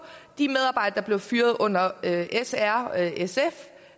de medarbejdere der blev fyret under s r sf